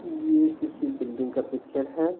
ये किसी बिल्डिंग का पिक्चर है।